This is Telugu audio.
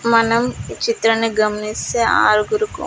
మనం ఈ చిత్రాన్ని గమనిస్తే ఆరుగురు--